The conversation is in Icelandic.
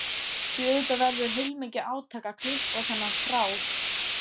Því auðvitað verður heilmikið átak að klippa á þennan þráð.